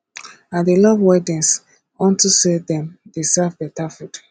i dey love weddings unto say dem dey serve beta food